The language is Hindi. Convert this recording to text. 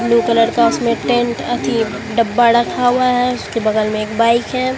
ब्लू कलर का उसमें टेंट अथी डब्बा रखा हुआ है उसके बगल में एक बाइक है।